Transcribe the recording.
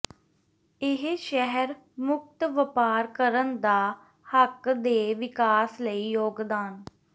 ਇਹ ਸ਼ਹਿਰ ਮੁਕਤ ਵਪਾਰ ਕਰਨ ਦਾ ਹੱਕ ਦੇ ਵਿਕਾਸ ਲਈ ਯੋਗਦਾਨ